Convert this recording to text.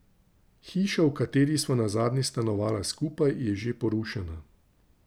Hiša, v kateri sva nazadnje stanovala skupaj, je že porušena.